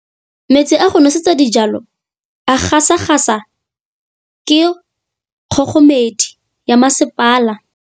Metsi a go nosetsa dijalo a gasa gasa ke kgogomedi ya masepala.